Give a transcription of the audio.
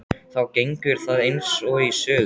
Þá gengur það eins og í sögu.